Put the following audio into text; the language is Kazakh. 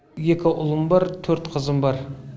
екі ұлым бар төрт қызым бар